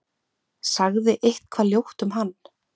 Sagði eitthvað ljótt um hann.